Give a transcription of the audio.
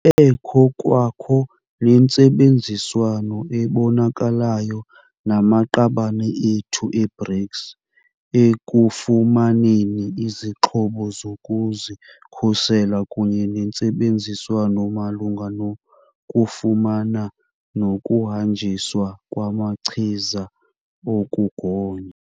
Kube kwakho nentsebenziswano ebonakalayo namaqabane ethu e-BRICS ekufumaneni izixhobo zokuzikhusela kunye nentsebenziswano malunga nokufumana nokuhanjiswa kwamachiza okugonya.